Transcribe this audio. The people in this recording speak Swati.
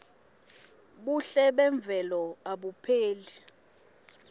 buhle memvelo abupheli